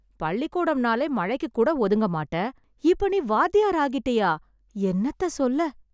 பள்ளிகூடம்னாலே மழைக்குக் கூட ஒதுங்க மாட்ட.இப்ப, நீ வாத்தியார் ஆகிட்டயா. என்னத்த சொல்ல.